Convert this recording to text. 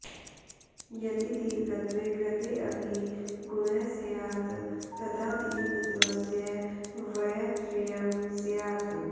यदि दीर्घत्वे कृतेऽपि गुणः स्यात् तदा दीर्घत्वस्य वैयथ्र्यं स्यात्